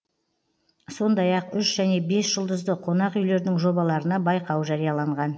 сондай ақ үш және бес жұлдызды қонақ үйлердің жобаларына байқау жарияланған